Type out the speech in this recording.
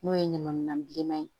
N'o ye ɲamanminɛn bilenman ye